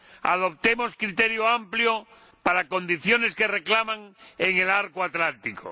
Adoptemos un criterio amplio para unas condiciones que lo reclaman en el Arco Atlántico.